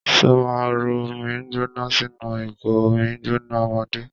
Ṣó ma rọ omi gbóná sínú ìgò omi gbóná ọmọdé?